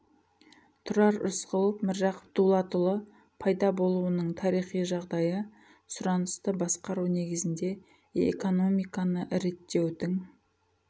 тұрар рысқұлов міржақып дұлатұлы пайда болуының тарихи жағдайы сұранысты басқару негізінде экономиканы реттеудің